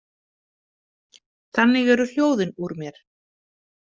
Þannig eru hljóðin úr mér.